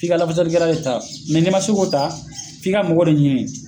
F'i ka Iafasalikɛla de ta mɛ n'e ma se k'o ta f'i ka mɔgɔ de ɲinin